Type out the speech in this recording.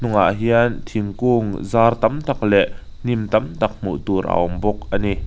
ah hian thingkung zar tam tak leh hnim tam tak hmuh tur a awm bawk a ni.